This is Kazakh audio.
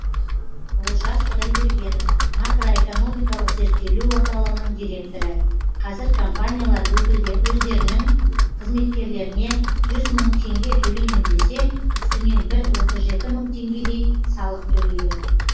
олжас құдайбергенов макроэкономикалық зерттеулер орталығының директоры қазір компаниялар өздерінің қызметкерлеріне жүз мың теңге төлеймін десе үстінен бір отыз жеті мың теңгедей салық төлейді